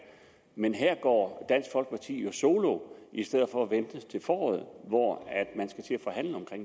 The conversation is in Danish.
men her går dansk folkeparti jo solo i stedet for at vente til foråret hvor